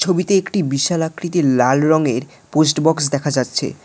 ছবিতে একটি বিশাল আকৃতির লাল রঙের পোস্ট বক্স দেখা যাচ্ছে।